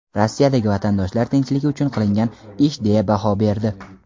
Rossiyadagi vatandoshlar tinchligi uchun qilingan ish deya baho berdi.